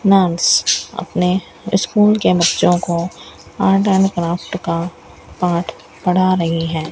Ma'am अपने school के बच्चों को आर्ट एंड क्राफ्ट का पाठ पढ़ा रही है।